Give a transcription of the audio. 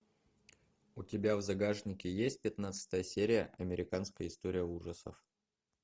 у тебя в загашнике есть пятнадцатая серия американская история ужасов